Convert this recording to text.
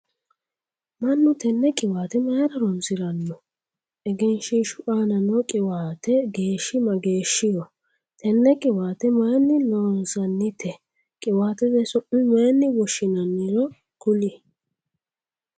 Manu tenne qiwaate mayira horoonsirano? Egenshiishu aanna noo qiwaatete geeshi mageeshiho? Tene qiwaate mayinni loonsoonnite? Qiwaatete su'ma mayine woshinnanniro kuli?